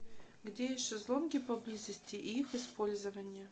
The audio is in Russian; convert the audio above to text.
где есть шезлонги поблизости и их использование